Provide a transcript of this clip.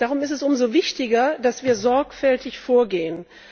Darum ist es umso wichtiger, dass wir sorgfältig vorgehen.